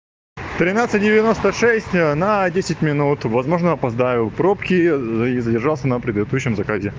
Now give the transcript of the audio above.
тринадцать девяносто шесть на десять минут возможно опоздаю пробки задержался на предыдущем заказе